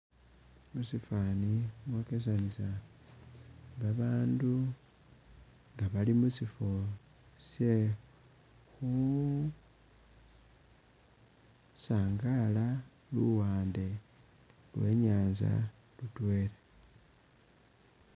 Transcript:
Musifani mwokesanisa ba bandu nga bali musifo sye khu sangala luwande lwe nyanza lutwela.